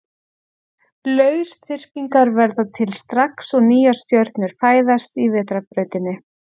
Lausþyrpingar verða til strax og nýjar stjörnur fæðast í Vetrarbrautinni.